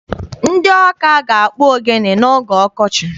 Ndị Ọka ga-akpụ ogene n'oge ọkọchị.